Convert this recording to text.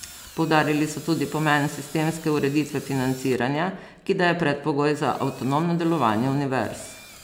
Poudarili so tudi pomen sistemske ureditve financiranja, ki da je predpogoj za avtonomno delovanje univerz.